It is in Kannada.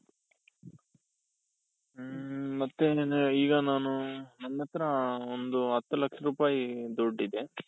ಹ್ಮ್ ಮತ್ತೇನoದ್ರೆ ಈಗ ನಾನು ನನ್ನ ಹತ್ರ ಒಂದು ಹತ್ತು ಲಕ್ಷ ರೂಪಾಯಿ ದುಡ್ಡಿದೆ.